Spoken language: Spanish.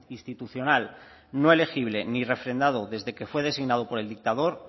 institucional no elegible ni refrendado desde que fue designado por el dictador